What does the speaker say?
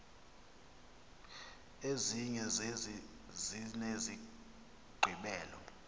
ezinye zezi zinesigqibelo